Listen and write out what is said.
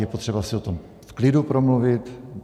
Je potřeba si o tom v klidu promluvit.